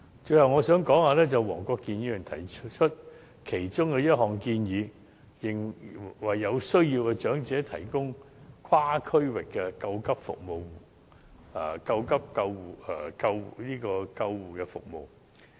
最後，黃國健議員提出一項建議，為有需要的長者提供跨區域的緊急救護服務，我想就此作出回應。